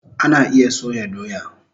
Ana iya soya doya